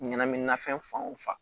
Ɲɛnaminimafɛn fan wo fan